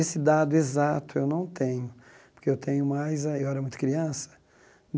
Esse dado exato eu não tenho, porque eu tenho mais... Eu era muito criança.